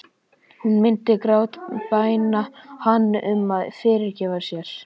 Hún myndi grátbæna hann um að fyrirgefa sér.